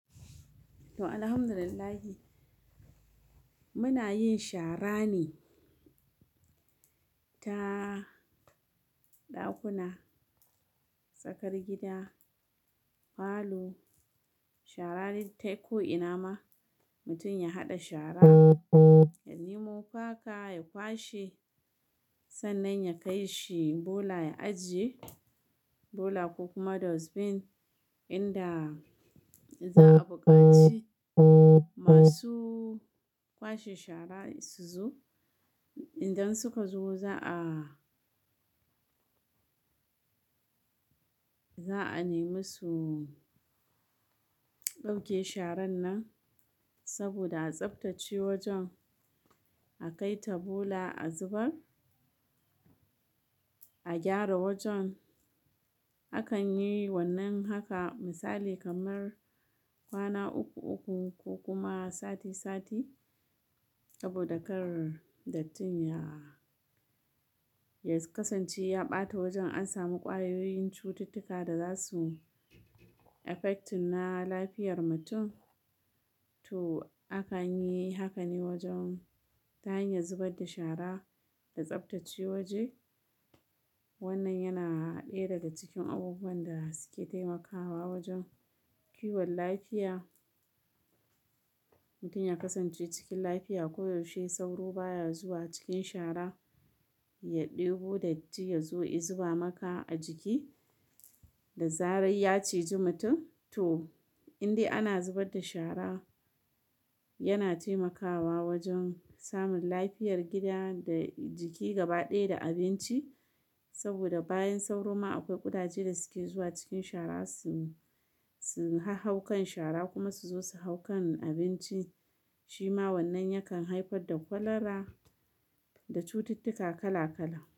To, Alhamdulillah muna yin shara ne ta ɗakuna, tsakar gida, falo. Shara dai ta ko ina ma mutum ya haɗa shara ya nemo faka ya kwashe, sannan ya kai shi bola ya ajiye. Bola ko kuma dustbin inda za a buƙaci masu kwashe shara su zo. Idan suka zo za'a, za'a nemi su ɗauke sharan nan saboda a tsabtace wajen, a kai ta bola a zubar, a gyara wajen. Akan yi wannan haka, misali kamar kwana uku-uku ko kuma sati-sati saboda kar dattin ya ya kasance ya ɓata wajen an sami ƙwayoyin cututtuka da za su affecting na lafiyar mutum. To akanyi hakan ne wajen ta hanyar zubar da shara da tsabtace waje. Wannan yana ɗaya daga cikin abubuwan da suke taimakawa wajen kiwon lafiya. Mutum ya kasance cikin lafiya ko yaushe, sauro baya zuwa cikin shara ya ɗebo datti ya zo ya zuba maka a jiki da zarar ya ciji mutum. To, indai ana zubar da shara yana taimakawa wajen samun lafiyar gida da jiki gaba ɗaya da abinci. Saboda bayan sauro ma akwai ƙudaje da suke zuwa cikin shara su, su hau kan shara kuma su zo su hau kan abinci. Shi ma wannan yakan haifar da kwalara da cututtuka kala kala.